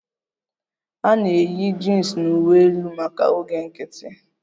A na-eyi jins na uwe elu maka oge nkiti